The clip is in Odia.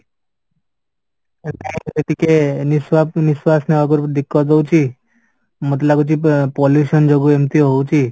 ଟିକେ ନିଶ୍ୱାସ ନିଶ୍ୱାସ ନେବା ପୁର୍ବୁରୁ ହଉଚି ମତେ ଲାଗୁଚି pollution ଯୋଗୁ ଏମିତି ହଉଚି